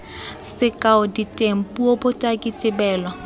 sekao diteng puo botaki tebelo